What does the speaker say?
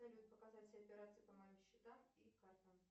салют показать все операции по моим счетам и картам